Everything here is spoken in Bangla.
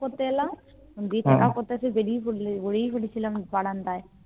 করতে এলাম দিয়ে Checkup করতে এসে বেরিয়ে গড়িয়ে পড়েছিলাম বারান্দায়